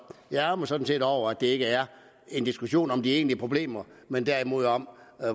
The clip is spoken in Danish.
jeg ærgrer mig sådan set over at det ikke er en diskussion om de egentlige problemer men derimod om